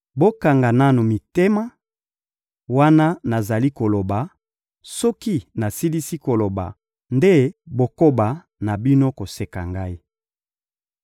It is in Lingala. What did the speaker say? Bokanga nanu mitema, wana nazali koloba; soki nasilisi koloba nde bokoba na bino koseka ngai.